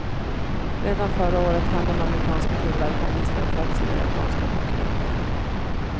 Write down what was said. Redan förra året hann de amerikanska tillverkarna nästan i fatt sina japanska konkurrenter.